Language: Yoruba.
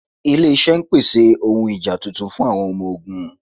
Ịlẹ̀-iṣẹ̀ n pèsè àwọn ọ̀hun ìjá tuntun sí àwọn ọmọ-ọ̀gùn.